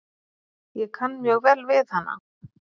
Ég kann mjög vel við hana